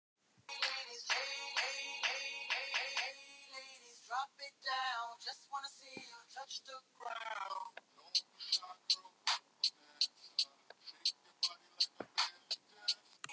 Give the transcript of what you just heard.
Ég kyssi þig í anda og kveð þig